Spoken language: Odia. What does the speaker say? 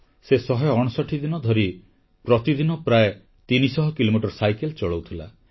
ସେ 159 ଦିନ ଧରି ପ୍ରତିଦିନ ପ୍ରାୟ 300 କିଲୋମିଟର ସାଇକେଲ ଚଳାଉଥିଲା